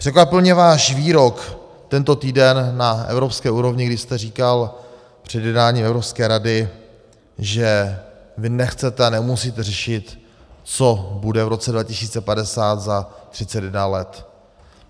Překvapil mě váš výrok tento týden na evropské úrovni, kdy jste říkal před jednáním Evropské rady, že vy nechcete a nemusíte řešit, co bude v roce 2050, za 31 let.